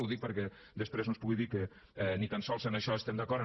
ho dic perquè després no es pugui dir que ni tan sols en això estem d’acord